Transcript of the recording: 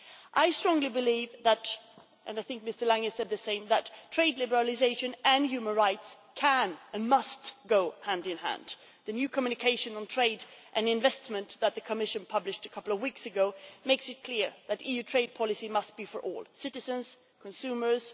I strongly believe and I think Mr Lange said the same that trade liberalisation and human rights can and must go hand in hand. The new Communication on trade and investment that the Commission published a couple of weeks ago makes it clear that EU trade policy must be for all citizens consumers